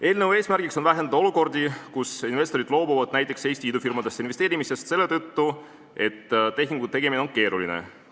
Eelnõu eesmärk on vähendada olukordi, kus investorid loobuvad näiteks Eesti idufirmadesse investeerimisest selle tõttu, et tehingu tegemine on keeruline.